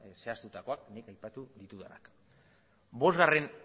zehaztutakoak nik aipatu ditudanak bosgarren